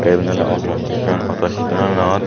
iben oley auto isteson auto istesonanot .